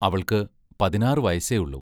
അവൾക്ക്‌ പതിനാറ് വയസ്സേ ഉള്ളു.